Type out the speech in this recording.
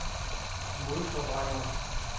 modforvrænger